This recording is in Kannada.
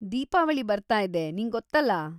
ದೀಪಾವಳಿ ಬರ್ತಾ ಇದೆ, ನಿಂಗೊತ್ತಲ್ಲ!